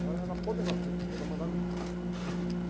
Então ela era a poderosa da empresa, ela mandava em tudo lá.